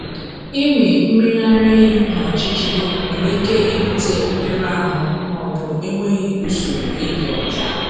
Ịmị mmiri ara ehi n’ọchịchịrị nwere ike ibute mmerụ ahụ ma ọ bụ enweghị usoro ịdị ọcha.